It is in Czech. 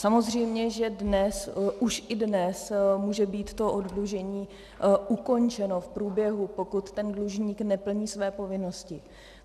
Samozřejmě že dnes, už i dnes může být to oddlužení ukončeno v průběhu, pokud ten dlužník neplní své povinnosti.